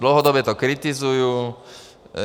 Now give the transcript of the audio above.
Dlouhodobě to kritizuji.